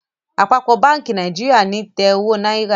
Àpapọ bánkì Nàìjíríà ní tè owó náírà.